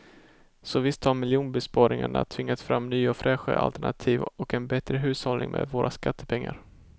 Så visst har miljonbesparingarna tvingat fram nya och fräscha alternativ och en bättre hushållning med våra skattepengar.